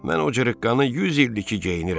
Mən o cırıqqanı 100 ildir ki geyinirəm.